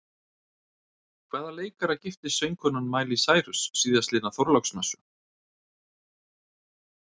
Hvaða leikara giftist söngkonan Miley Cyrus síðastliðna þorláksmessu?